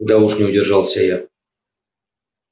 да уж не удержался я